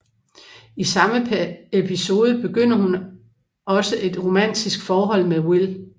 I samme episode begynder hun også et romantisk forhold med Will